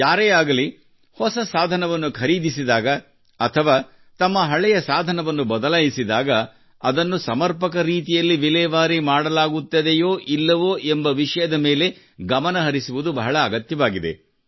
ಯಾರೇ ಆಗಲಿ ಹೊಸ ಸಾಧನವನ್ನು ಖರೀದಿಸಿದಾಗ ಅಥವಾ ತಮ್ಮ ಹಳೆಯ ಸಾಧನವನ್ನು ಬದಲಾಯಿಸಿದಾಗ ಅದನ್ನು ಸಮರ್ಪಕ ರೀತಿಯಲ್ಲಿ ವಿಲೇವಾರಿ ಮಾಡಲಾಗುತ್ತದೆಯೋ ಇಲ್ಲವೋ ಎಂಬ ವಿಷಯದ ಮೇಲೆ ಗಮನ ಹರಿಸುವುದು ಬಹಳ ಅಗತ್ಯವಾಗಿದೆ